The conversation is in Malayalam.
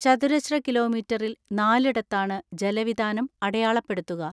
ചതുരശ്ര കിലോ മീറ്ററിൽ നാലിടത്താണ് ജലവിതാനം അടയാളപ്പെടുത്തുക.